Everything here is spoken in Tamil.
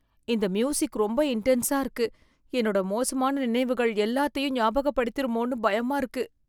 இந்த மியூசிக் ரொம்ப இண்டென்ஸா இருக்கு, என்னோட மோசமான நினைவுகள் எல்லாத்தையும் ஞாபகப்படுத்திருமோனு பயமா இருக்கு.